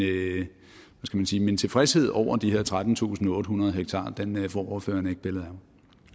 min tilfredshed over de her trettentusinde og ottehundrede ha får ordføreren ikke pillet